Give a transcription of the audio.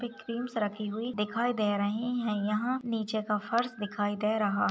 पे क्रीम्स रखी हुई दिखाई दे रही हैं। यहाँ नीचे का फर्श दिखाई दे रहा --